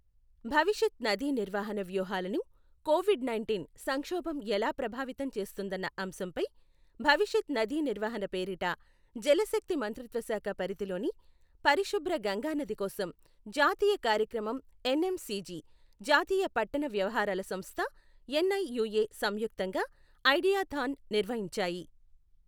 భవిష్యత్ నదీనిర్వహణ వ్యూహాలను కోవిడ్ నైంటీన్ సంక్షోభం ఎలా ప్రభావితం చేస్తుందన్న అంశంపై, భవిష్యత నదీ నిర్వహణ పేరిట జలశక్తి మంత్రిత్వశాఖ పరిధిలోని, పరిశుభ్ర గంగానది కోసం జాతీయ కార్యక్రమం ఎన్ఎంసిజి, జాతీయ పట్టణ వ్యవహారాల సంస్థ ఎన్ఐయూఏ సంయుక్తంగా ఐడియా థాన్ నిర్వహించాయి.